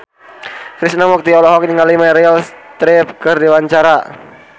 Krishna Mukti olohok ningali Meryl Streep keur diwawancara